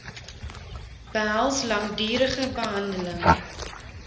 behels langdurige behandeling